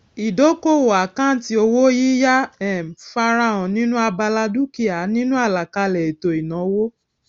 ìdókòwò àkáǹtì owó yíyá um farahàn nínú abala dúkìá nínu àlàkalè ètò ìnáwó